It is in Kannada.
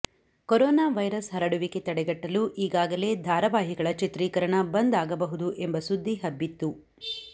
ಕೊರೋನಾ ವೈರಸ್ ಹರಡುವಿಕೆ ತಡೆಗಟ್ಟಲು ಈಗಾಗಲೇ ಧಾರವಾಹಿಗಳ ಚಿತ್ರೀಕರಣ ಬಂದ್ ಆಗಬಹುದು ಎಂಬ ಸುದ್ದಿಹಬ್ಬಿತ್ತು